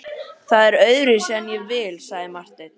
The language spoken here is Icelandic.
Það er öðruvísi en ég vil, sagði Marteinn.